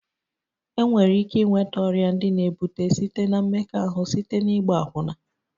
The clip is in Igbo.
Enwere ike ịnweta ọrịa ndị na-ebute site na mmekọahụ site na ịgba akwụna